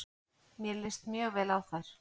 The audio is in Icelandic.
Mér líst mjög vel á þær.